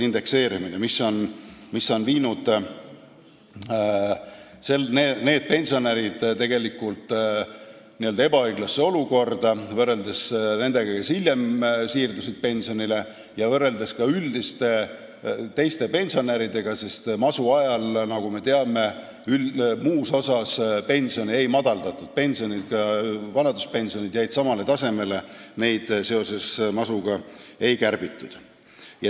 See on pannud need pensionärid ebaõiglasse olukorda võrreldes nendega, kes hiljem pensionile siirdusid, ja võrreldes ka teiste pensionäridega, sest masuajal, nagu me teame, teisi pensione ei vähendatud, vanaduspensionid jäid endisele tasemele, neid masu tõttu ei kärbitud.